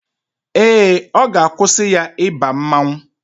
Ee, ọ ga-akwụsị ya ịba mmanwụ